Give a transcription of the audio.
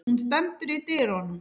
Hún stendur í dyrunum.